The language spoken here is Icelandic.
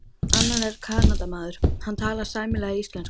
Annar er Kanadamaður, hann talar sæmilega íslensku.